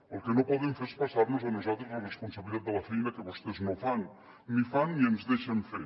el que no poden fer és passar nos a nosaltres la responsabilitat de la feina que vostès no fan ni fan ni ens deixen fer